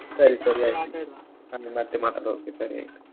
ಸರಿ ಮತ್ತೆ ಮಾತಾಡುವ okay ಸರಿ ಆಯ್ತ್.